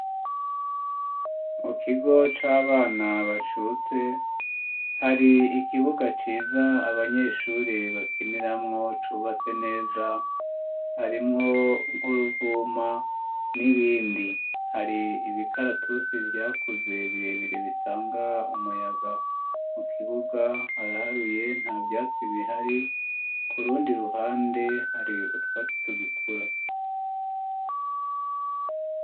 Mu kigo c'abana bacutse, hari ikibuga ciza abanyeshuri bakiniramwo, cubatse neza ,harimwo nk'uruvuma ,n'ibindi ,hari ibikaratusi vyakuze birebire bitanga umuyaga ,mu kibuga haraharuye nta vyatsi bihari, kurundi ruhande hari utwatsi tugikura.